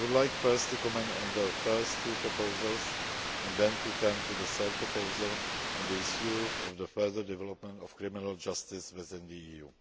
I would like first to comment on the first two proposals, and then to turn to the third proposal on the issue of the further development of criminal justice within the EU.